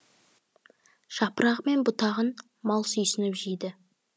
жапырағы мен бұтағын мал сүйсініп жейді